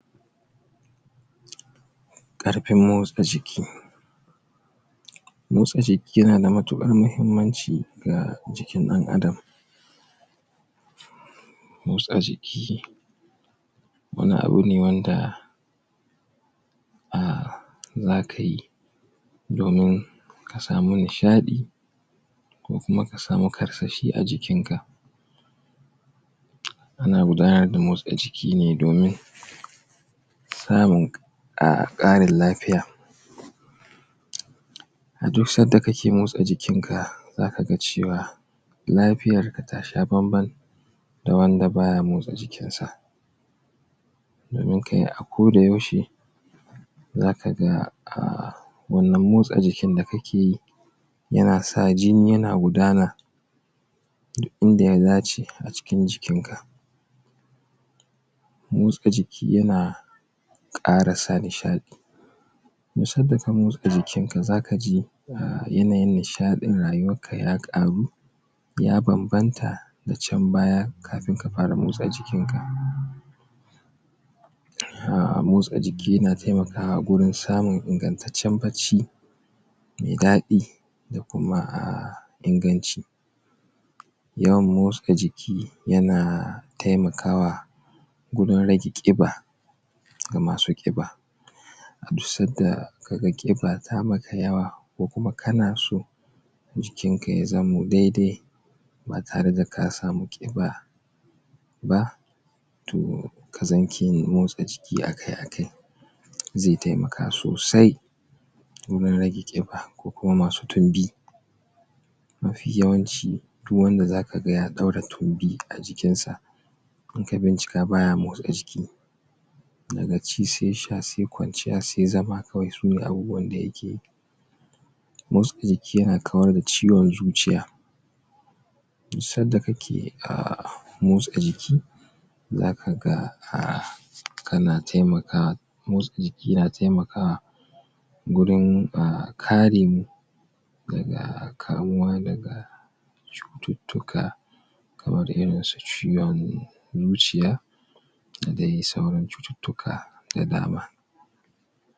ƙarfin motsa jiki motsa jiki ya na da matuƙar muhimmanci ga jikin ɗan adam motsa jiki wani abu ne wanda domin ka samu nishaɗi ko kuma ka samu karsashi a jikin ka ana gabatar da motsa jiki ne domin samun ƙarin lafiya a duk sanda ka ke motsa jikin ka za ka ga cewa lafiyar ka ta sha bamban da wanda ba ya motsa jikin sa domin a koda yaushe za kaga wannan motsa jikin da ka ke yi ya na sa jini yana gudana duk in da ya dace a cikin jikin ka motsa jiki yana ƙara saka nishaɗi duk sanda ka motsa jikin ka za ka ji yanayin nishaɗin rayuwarka ya ƙaru ya bambanta da can baya, kafin ka fara motsa jikin ka motsa jiki na ƙara taimakawa wajen samun ishasshen bacci mai daɗi da kuma a inganci yawan motsa jiki yana taimakawa gurin rage ƙiba ga masu ƙiba duk sanda ka ga ƙiba ta yi maka yawa ko kuma kana so jikin ka ya zamo dai-dai ba tare da ka samu ƙiba ba ka zamo mai motsa jiki akai akai zai taimaka sosai mafi yawanci duk wanda zaka ga ya ɗaura tumbi a jikin sa aka bincika baya motsa jiki daga ci sai sha sai kwanciya sai zama kawai sune abubuwan da yake yi motsa jiki yana kawar da ciwon zuciya duk sanda ka ke motsa jiki zaka ga kana taimakawa motsa jiki yana taimakawa wurin kare mu daga kamuwa da cututtuka kamar irin su ciwon zuciya da kuma sauran cututtuka da dama.